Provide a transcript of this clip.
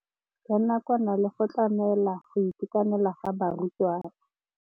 Ya nakwana le go tlamela go itekanela ga barutwana.